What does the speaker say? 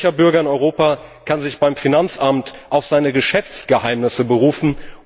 Welcher Bürger in Europa kann sich beim Finanzamt auf seine Geschäftsgeheimnisse berufen?